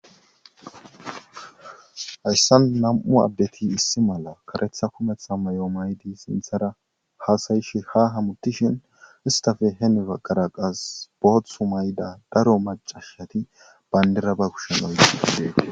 hayssan nam7u abbeti issi mala karetha kumetha may7o maydi sinthara haasayishi ha hamutishin istafe henifa garaqas booththu mayda daro macashati bayndira ba kushenoygidee